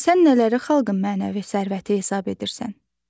Sən nələri xalqın mənəvi sərvəti hesab edirsən?